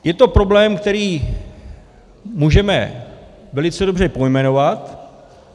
Je to problém, který můžeme velice dobře pojmenovat.